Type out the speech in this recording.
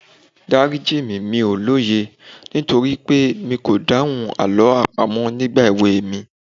Dárí jì mí, mi ò lóye nítorí pé mi kò dáhùn Àlọ́ àpamọ̀ nígbà èwe mi.